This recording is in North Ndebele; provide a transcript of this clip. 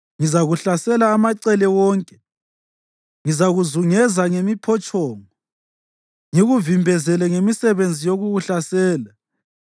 Ngizakuhlasela amacele wonke, ngizakuzungeza ngemiphotshongo ngikuvimbezele ngemisebenzi yokukuhlasela.